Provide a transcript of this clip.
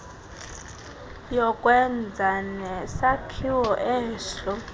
yokwenza nesakhiwo eso